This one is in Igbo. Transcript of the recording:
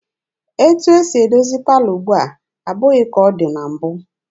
Etu esi edozi palọ ugbua abụghị ka ọ dị na mbụ.